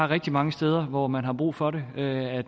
rigtig mange steder hvor man har brug for at